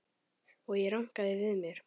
Og ég rankaði við mér.